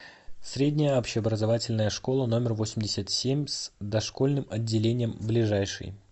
средняя общеобразовательная школа номер восемьдесят семь с дошкольным отделением ближайший